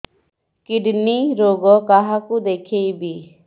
kidney ରୋଗ କାହାକୁ ଦେଖେଇବି